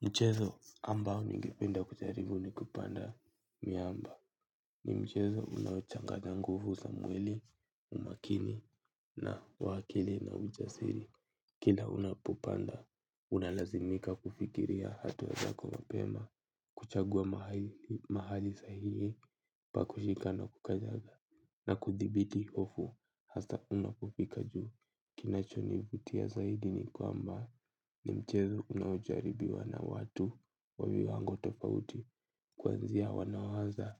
Mchezo ambao ningependa kujaribu ni kupanda miamba ni mchezo unaochanganya nguvu za mwili, umakini na uwakili na ujasiri. Kila unapopanda, unalazimika kufikiria hatua zako mapema, kuchagua mahali sahihi, pa kushika na kukanyaga na kuthibiti hofu. Haswa unapofika juu kinachonivutia zaidi ni kwamba ni mchezo unaojaribiwa na watu wa viwango tofauti kuanzia wanaoanza